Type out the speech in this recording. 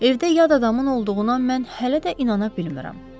Evdə yad adamın olduğuna mən hələ də inana bilmirəm.